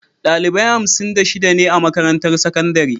Dalibai hamsin da shida ne a makarantar sakandare.